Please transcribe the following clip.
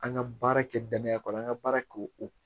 An ka baara kɛ danaya kɔnɔ an ka baara kɛ o